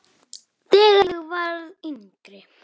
Þegar ég var yngri.